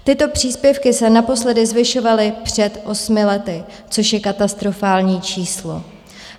Tyto příspěvky se naposledy zvyšovaly před osmi lety, což je katastrofální číslo.